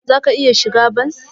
Zaka iya shigan bas.